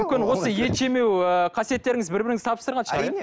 мүмкін осы ет жемеу ы қасиеттеріңіз бір біріңізді табыстырған шығар